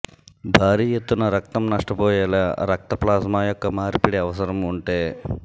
భారీ ఎత్తున రక్తం నష్టపోయేలా రక్త ప్లాస్మా యొక్క మార్పిడి అవసరం ఉంటే